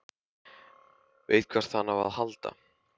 Veit hvert hann á að halda.